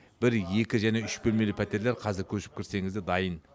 бір екі және үш бөлмелі пәтерлер қазір көшіп кірсеңіз де дайын